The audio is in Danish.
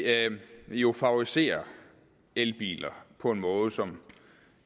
at det jo favoriserer elbiler på en måde som